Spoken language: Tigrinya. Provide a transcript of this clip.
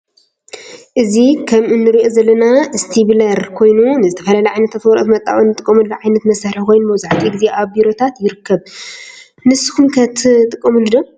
እዚ ከም እንሪኦ ዘለና እስተቢለር ኮይኑ ንዝተፈላለዩ ዓይነታት ወረቀት መጣበቂ እንጥቀመሉ ዓየነት መሳርሒ ኮይኑ መብዛሕቲኡ ግዜ አብ ቢሮታት ይርከብ። ነስኩሙ ከ ትጥቀሙሉ ዶ?